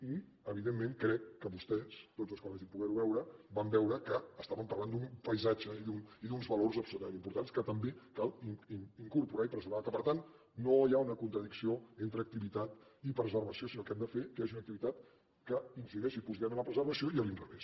i evidentment crec que vostès tots els que ho vagin poder veure van veure que estaven parlant d’un paisatge i d’uns valors absolutament importants que també cal incorporar i preservar que per tant no hi ha una contradicció entre activitat i preservació sinó que hem de fer que hi hagi una activitat que incideixi positivament en la preserva·ció i a l’inrevés